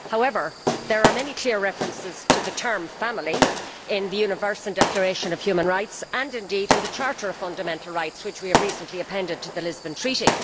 however, there are many clear references to the term family' in the Universal Declaration of Human Rights and, indeed, in the Charter of Fundamental Rights which we have recently appended to the Lisbon Treaty.